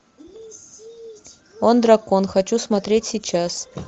он дракон хочу смотреть сейчас